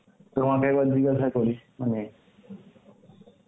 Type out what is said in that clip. তোমাকে একবার জিজ্ঞাসা করি মানে